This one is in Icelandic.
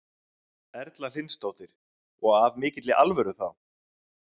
Erla Hlynsdóttir: Og af mikilli alvöru þá?